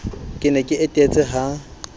ke ne ke etetse ha